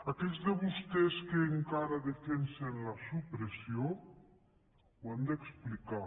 aquells de vostès que encara en defensen la supressió ho han d’explicar